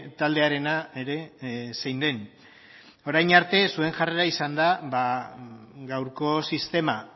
taldearena ere zein den orain arte zuen jarrera izan da gaurko sistema